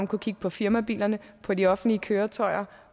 kunne kigge på firmabilerne og på de offentlige køretøjer